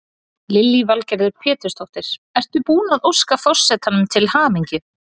Lillý Valgerður Pétursdóttir: Ert þú búin að óska forsetanum til hamingju?